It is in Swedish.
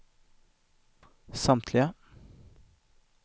samtliga